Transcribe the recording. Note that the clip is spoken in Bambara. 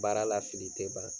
Baara la fili tɛ ban.